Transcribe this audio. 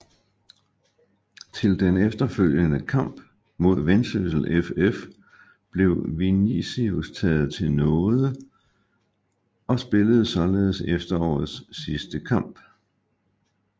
Til den efterfølgende kamp mod Vendsyssel FF blev Vinicius taget til nåede og spillede således efterårets sidste kamp